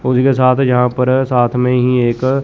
उसके साथ यहाँ पर एक साथ मैं ही एक --